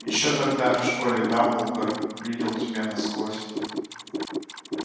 ещё тогда в школе дамблдор видел тебя насквозь